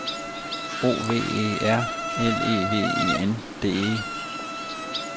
O V E R L E V E N D E